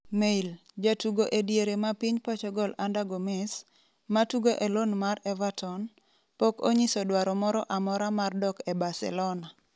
(Mail) Jatugo ediere ma piny Portugal Andre Gomes, matugo e loan mar Everton, pok onyiso dwaro moro amora mar dok e Barcelona.